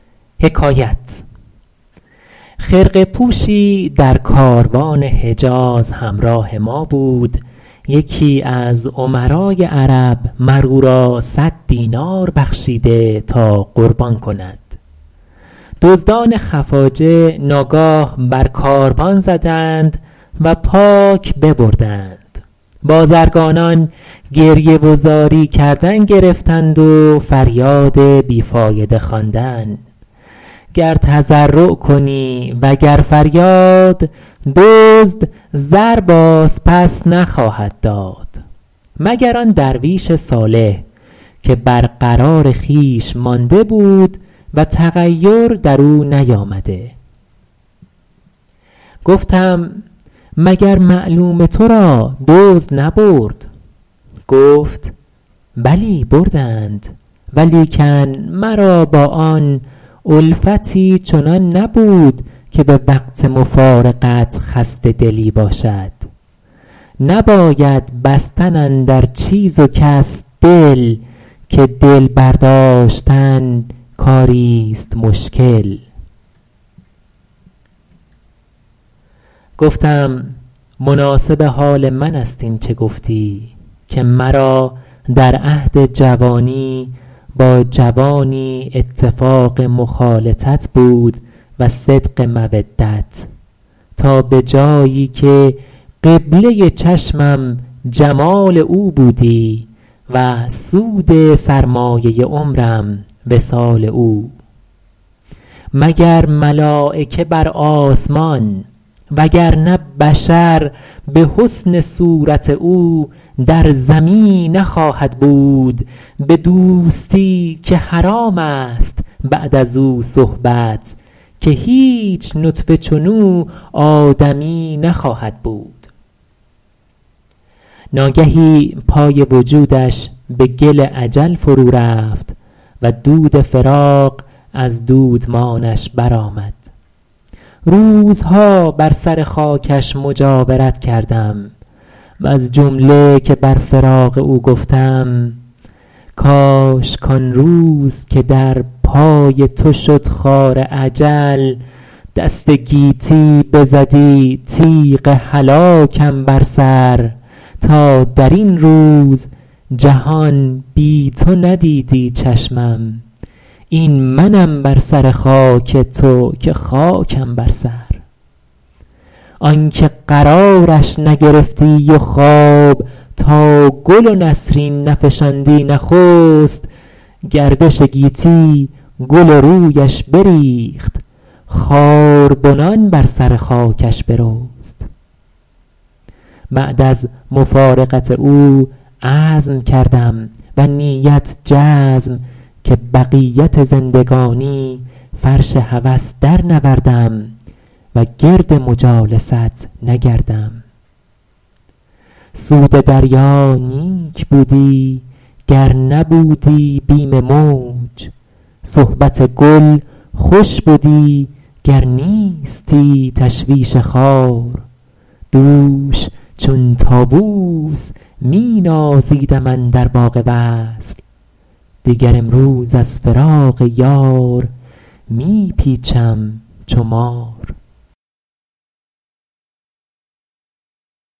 خرقه پوشی در کاروان حجاز همراه ما بود یکی از امرای عرب مر او را صد دینار بخشیده تا قربان کند دزدان خفاجه ناگاه بر کاروان زدند و پاک ببردند بازرگانان گریه و زاری کردن گرفتند و فریاد بی فایده خواندن گر تضرع کنی و گر فریاد دزد زر باز پس نخواهد داد مگر آن درویش صالح که بر قرار خویش مانده بود و تغیر در او نیامده گفتم مگر معلوم تو را دزد نبرد گفت بلی بردند ولیکن مرا با آن الفتی چنان نبود که به وقت مفارقت خسته دلی باشد نباید بستن اندر چیز و کس دل که دل برداشتن کاری ست مشکل گفتم مناسب حال من است این چه گفتی که مرا در عهد جوانی با جوانی اتفاق مخالطت بود و صدق مودت تا به جایی که قبله چشمم جمال او بودی و سود سرمایه عمرم وصال او مگر ملایکه بر آسمان وگر نه بشر به حسن صورت او در زمی نخواهد بود به دوستی که حرام است بعد از او صحبت که هیچ نطفه چنو آدمی نخواهد بود ناگهی پای وجودش به گل اجل فرو رفت و دود فراق از دودمانش برآمد روزها بر سر خاکش مجاورت کردم وز جمله که بر فراق او گفتم کاش کآن روز که در پای تو شد خار اجل دست گیتی بزدی تیغ هلاکم بر سر تا در این روز جهان بی تو ندیدی چشمم این منم بر سر خاک تو که خاکم بر سر آن که قرارش نگرفتی و خواب تا گل و نسرین نفشاندی نخست گردش گیتی گل رویش بریخت خاربنان بر سر خاکش برست بعد از مفارقت او عزم کردم و نیت جزم که بقیت زندگانی فرش هوس درنوردم و گرد مجالست نگردم سود دریا نیک بودی گر نبودی بیم موج صحبت گل خوش بدی گر نیستی تشویش خار دوش چون طاووس می نازیدم اندر باغ وصل دیگر امروز از فراق یار می پیچم چو مار